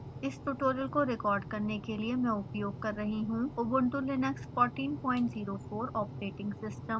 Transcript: इस ट्यूटोरियल को रिकॉर्ड करने के लिए मैं उपयोग कर रही हूँ ubuntu linux 1404 ऑपरेटिंग सिस्टम